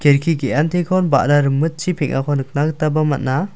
kelki ge·antikon ba·ra rimitchi peng·ako nikna gitaba man·a.